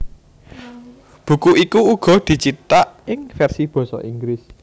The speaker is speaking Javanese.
Buku iku uga dicithak ing versi basa Inggris